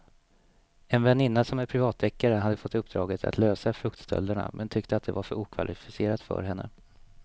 En väninna som är privatdeckare hade fått uppdraget att lösa fruktstölderna men tyckte att det var för okvalificerat för henne.